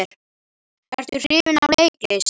Ertu hrifinn af leiklist?